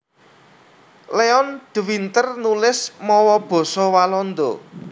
Leon de Winter nulis mawa basa Walanda